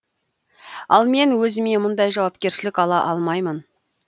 ал мен өзіме мұндай жауапершілік ала алмаймын